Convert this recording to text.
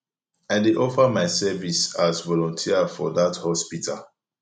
i dey offer my service as volunteer for dat hospital